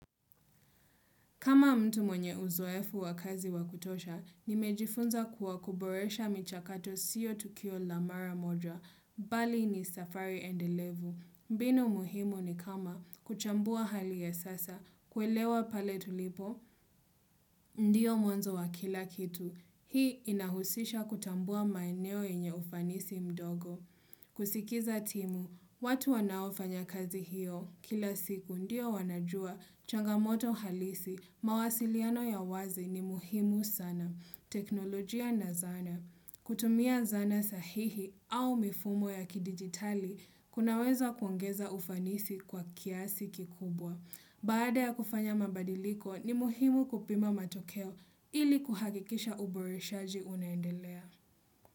Kama mtu mwenye uzoefu wa kazi wakutosha, nimejifunza kuwa, kuboresha michakato siyo tukio la mara moja, bali ni safari endelevu. Mbinu muhimu ni kama kuchambua hali ya sasa, kuelewa pale tulipo ndiyo mwanzo wa kila kitu. Hii inahusisha kutambua maeneo yenye ufanisi mdogo. Kusikiza timu, watu wanaofanya kazi hiyo kila siku ndio wanajua changamoto halisi mawasiliano ya wazi ni muhimu sana. Teknolojia na zana. Kutumia zana sahihi au mifumo ya kidigitali, kunaweza kuongeza ufanisi kwa kiasi kikubwa. Baada ya kufanya mabadiliko ni muhimu kupima matokeo ili kuhakikisha uboreshaji unaendelea.